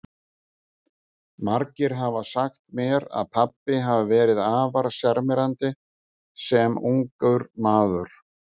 Margir hafa sagt mér að pabbi hafi verið afar sjarmerandi sem ungur maður.